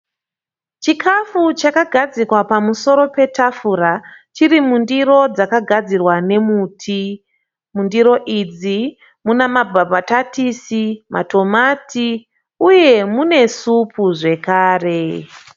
Chikafu chakagadzikwa pamusoro patafura chiri mundiro dzakagadzirwa nemuti. Mundiro idzi munemambatatisi, matomati uye mune supu zvakare.